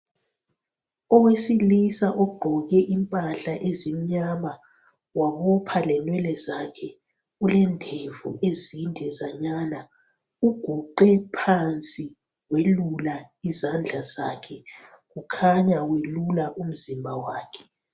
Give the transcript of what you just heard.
Owesilisa ogqoke impahla ezimnyama wabopha lenwele zakhe ulendevu ezindezanyana uguqe phansi welula izandla zakhe kukhanya welula umzimba wakhe.